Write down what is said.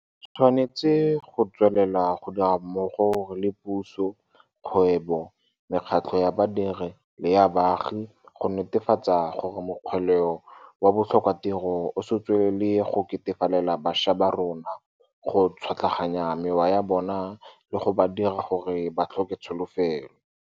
Re tshwanetse go tswelela go dira mmogo re le puso, kgwebo, mekgatlho ya badiri le ya baagi go netefatsa gore mokgweleo wa botlhokatiro o se tswelele go ketefalela bašwa ba rona, go tšhwatlaganya mewa ya bona le go ba dira gore ba tlhoke tsolofelo.